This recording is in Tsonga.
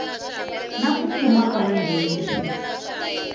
na ku fuma ka vanghenisi